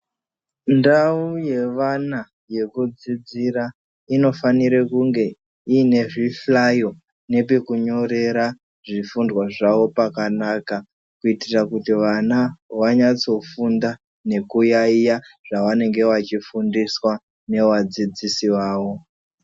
Ndau yevana yekudzidzira inofanira kunge ine zvihlayo nepekunyorera zvifundwa zvawo pakanaka kuitira kuti vana vanyatso funda nekuyaiya zvavanenge vachifundiswa nevadzidzisi vavo.